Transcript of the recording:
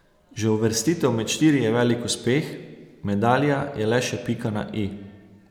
Že uvrstitev med štiri je velik uspeh, medalja je le še pika na i.